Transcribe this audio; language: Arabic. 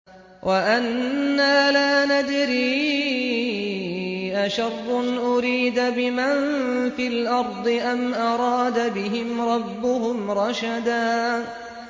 وَأَنَّا لَا نَدْرِي أَشَرٌّ أُرِيدَ بِمَن فِي الْأَرْضِ أَمْ أَرَادَ بِهِمْ رَبُّهُمْ رَشَدًا